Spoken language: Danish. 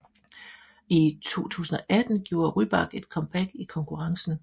I 2018 gjorde Rybak comeback i konkurrencen